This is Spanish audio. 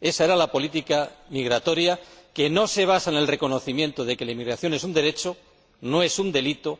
Ésa era la política migratoria no basada en el reconocimiento de que la emigración es un derecho, no un delito,